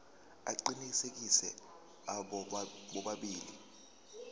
aqinisekisiwe abo bobabili